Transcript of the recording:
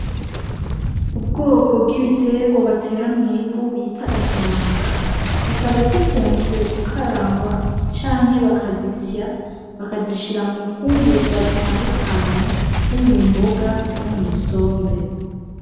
Ubwoko bw'ibiterwa batera mw’ivu bita ikaranga zikaba zikunzwe gukarangwa canke baka zisya bakazishira mu fungurwa zitandukanye nko mu mboga no mw’isombe.